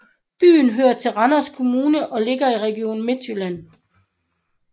Byen hører til Randers Kommune og ligger i Region Midtjylland